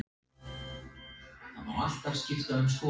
Er mikil spenna fyrir bikarleikinn gegn Val á fimmtudag?